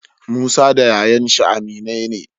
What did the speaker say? Musa da yayan shi aminai ne